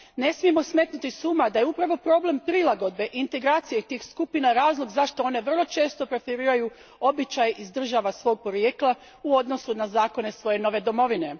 Ne smijemo smetnuti s uma da je upravo problem prilagodbe integracije tih skupina razlog zašto one vrlo često preferiraju običaj iz države svog porijekla u odnosu na zakone svoje nove domovine.